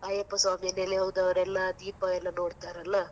ಅಯ್ಯಪ್ಪ ಸ್ವಾಮಿನೆಲೆ ಹೋದವರೆಲ್ಲ ದೀಪ ಎಲ್ಲಾ ನೋಡ್ತಾರಲ್ಲ.